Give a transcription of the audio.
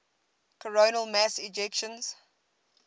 coronal mass ejections